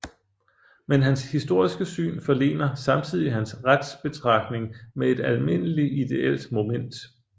Men hans historiske syn forlener samtidig hans retsbetragtning med et almindelig ideelt moment